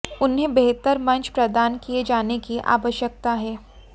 उन्हें बेहतर मंच प्रदान किए जाने की आवश्यकता है